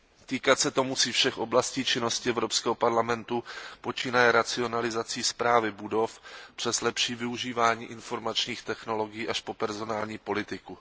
Týkat se to musí všech oblastí činnosti Evropského parlamentu počínaje racionalizací správy budov přes lepší využívání informačních technologií až po personální politiku.